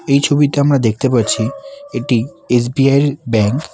এই ছবিতে আমরা দেখতে পাচ্ছি একটি এস_বি_আই -এর ব্যাংক ।